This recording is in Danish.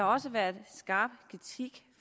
også været kritik